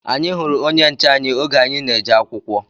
Anyị hụrụ onye nche anyị oge anyị na-eje akwụkwọ